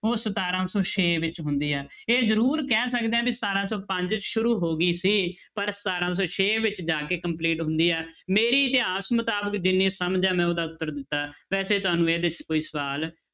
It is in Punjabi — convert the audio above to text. ਉਹ ਸਤਾਰਾਂ ਸੌ ਛੇ ਵਿੱਚ ਹੁੰਦੀ ਹੈ ਇਹ ਜ਼ਰੂਰ ਕਹਿ ਸਕਦੇ ਹਾਂ ਵੀ ਸਤਾਰਾਂ ਸੌ ਪੰਜ 'ਚ ਸ਼ੁਰੂ ਹੋ ਗਈ ਸੀ ਪਰ ਸਤਾਰਾਂ ਸੌ ਛੇ ਵਿੱਚ ਜਾ ਕੇ complete ਹੁੰਦੀ ਹੈ, ਮੇਰੀ ਇਤਿਹਾਸ ਮੁਤਾਬਿਕ ਜਿੰਨੀ ਸਮਝ ਹੈ ਮੈਂ ਉਹਦਾ ਉੱਤਰ ਦਿੱਤਾ, ਵੈਸੇ ਤੁਹਾਨੂੰ ਇਹਦੇ 'ਚ ਕੋਈ ਸਵਾਲ